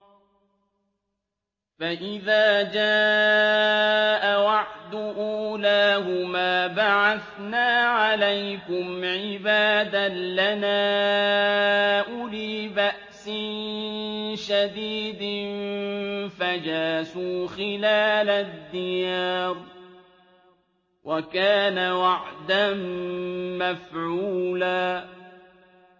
فَإِذَا جَاءَ وَعْدُ أُولَاهُمَا بَعَثْنَا عَلَيْكُمْ عِبَادًا لَّنَا أُولِي بَأْسٍ شَدِيدٍ فَجَاسُوا خِلَالَ الدِّيَارِ ۚ وَكَانَ وَعْدًا مَّفْعُولًا